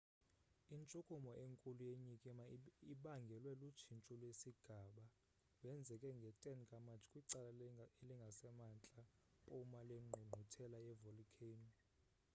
intshukumo enkulu yenyikima ibangelwe lutshintsho lwesigaba wenzeke nge-10 ka-matshi kwicala elingasemantla mpuma lwengqungquthela ye-volikheyino